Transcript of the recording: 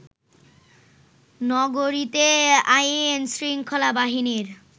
নগরীতে আইনশৃঙ্খলা বাহিনীর